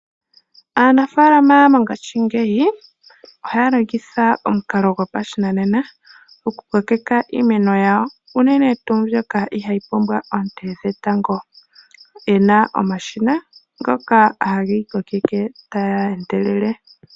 Aanafalama mongaashi ngeyi oha ya longitha omukalo gopashinanena opo yakokeke iimeno yawo, uunene tuu mbyoka iha yi pumbwa oonte dhetango. Oya na omashina ngoka ha ga koke taga endelele.